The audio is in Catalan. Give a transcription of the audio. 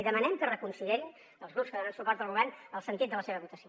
i demanem que reconsiderin els grups que donen suport al govern el sentit de la seva votació